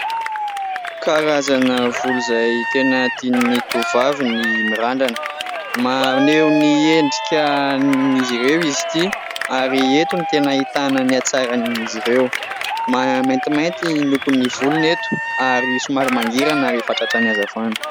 Karazana volo izay tena tian'ny tovovavy ny mirandrana : maneho ny endrikan'izy ireo izy ity ary eto no tena ahitana ny hatsaran'izy ireo. Maintimainty ny lokon'ny volony eto ary somary mangirana rehefa tratran'ny hazavana.